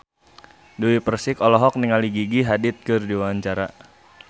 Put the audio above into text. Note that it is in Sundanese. Dewi Persik olohok ningali Gigi Hadid keur diwawancara